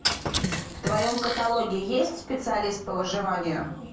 в твоем каталоге есть специалист по выживанию